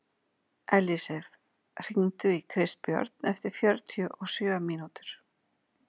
Ellisif, hringdu í Kristbjörn eftir fjörutíu og sjö mínútur.